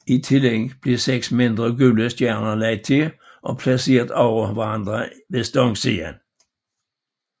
I tillæg blev seks mindre gule stjerner lagt til og placeret over hinanden ved stangsiden